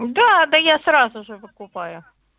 да да я сразу же выкупаю